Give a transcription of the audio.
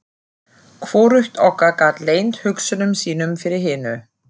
Hvorugt okkar gat leynt hugsunum sínum fyrir hinu.